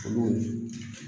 Olu